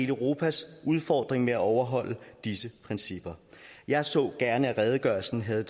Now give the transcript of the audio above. europas udfordring med at overholde disse principper jeg så gerne at redegørelsen havde